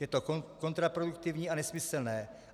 Je to kontraproduktivní a nesmyslné.